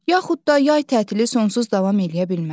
Yaxud da yay tətili sonsuz davam eləyə bilməz.